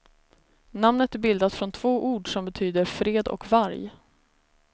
Namnet är bildat från två ord som betyder fred och varg.